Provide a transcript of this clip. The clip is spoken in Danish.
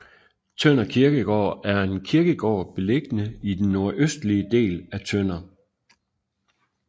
Tønder Kirkegård er en kirkegård beliggende i den nordøstlige del af Tønder